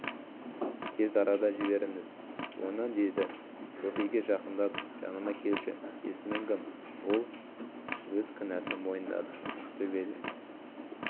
тез арада жіберіңіз оны деді софиге жақындап жаныма келші есімің кім ол өз кінәсін мойындады ақтөбеде